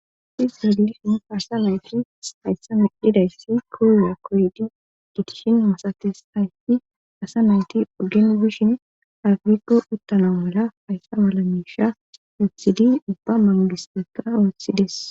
Izwalishin farsa naytii hayssa midhidayssi koowa koydi gitishin masates hayfi asa nayti ogen gishin afrikko uttana mala hayssa malamisha yotthidi ubba mangiseka ooththides